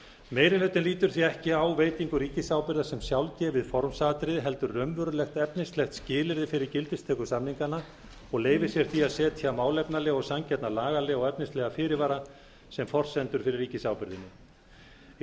meiri hlutinn lítur því ekki á veitingu ríkisábyrgðar sem sjálfgefið formsatriði heldur raunverulegt efnislegt skilyrði fyrir gildistöku samninganna og leyfir sér því að setja málefnalega og sanngjarna lagalega og efnislega fyrirvara sem forsendur fyrir ríkisábyrgðinni í